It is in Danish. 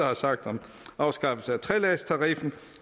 har sagt om afskaffelse af treledstariffen